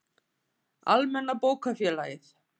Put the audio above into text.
Almenna bókafélagið.